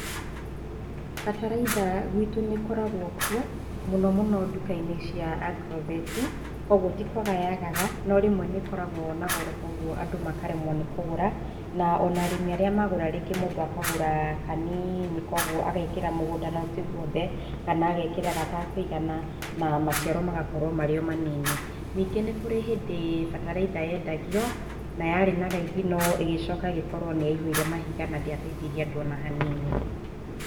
Bataraitha gwitũ nĩ ĩkoragwo kuo na mũno mũno duka-inĩ cia Agrovet kwoguo ti kwaga yagaga no rĩmwe nĩkoragwo na goro kwoguo andũ makaremwo nĩ kũgũra na ona arĩmi arĩa magũra rĩngĩ mũndũ akagũra kaniini kwoguo agekĩra mũgũnda no ti gwothe kana agekĩra gatekũigana na macira magakorwo marĩ o manini ningĩ nĩ kũrĩ hĩndĩ bataraitha yendagio na yarĩ na raithi ĩgĩcoka ĩgĩkorwo nĩ ya ihũire mahiga na ndĩateithirie andũ ona hanini.